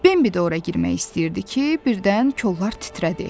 Bimbi də ora girmək istəyirdi ki, birdən kollar titrədi.